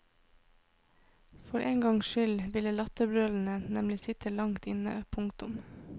For én gangs skyld vil latterbrølene nemlig sitte langt inne. punktum